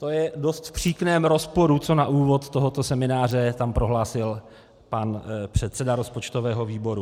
To je v dost příkrém rozporu, co na úvod tohoto semináře tam prohlásil pan předseda rozpočtového výboru.